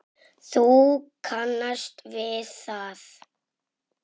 Þú kannast við það!